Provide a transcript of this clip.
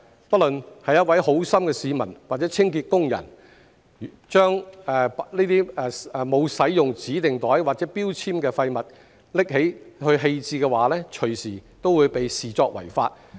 不論是一位好心市民或清潔工人，把沒有使用指定袋或標籤的廢物拿去棄置的話，隨時都會被視作違法。